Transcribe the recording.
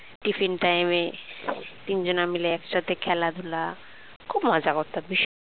tiffin time এ তিন জনা মিলে একসাথে খেলাধুলা খুব মজা করতাম ভীষণ